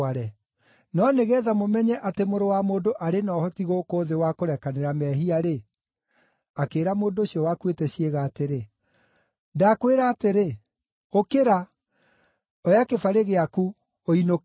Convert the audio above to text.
No nĩgeetha mũmenye atĩ Mũrũ wa Mũndũ arĩ na ũhoti gũkũ thĩ wa kũrekanĩra mehia-rĩ ….” Akĩĩra mũndũ ũcio wakuĩte ciĩga atĩrĩ, “Ndakwĩra atĩrĩ, ũkĩra, oya kĩbarĩ gĩaku, ũinũke.”